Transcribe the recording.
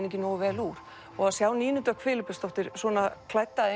ekki nógu vel úr og að sjá Nínu Dögg Filippusdóttir svona klædda